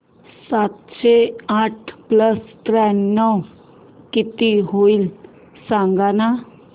सातशे आठ प्लस त्र्याण्णव किती होईल सांगना